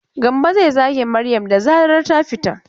Gambo zai zage Maryam da zarar ta fita.